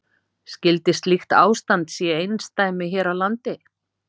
Skyldi slíkt ástand sé einsdæmi hér á landi?